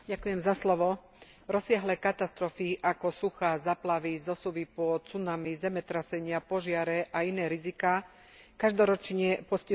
Rozsiahle katastrofy ako suchá, záplavy, zosuvy pôd, tsunami, zemetrasenia, požiare a iné riziká každoročne postihujú milióny ľudí.